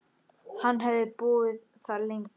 Hann hefði búið þar lengi.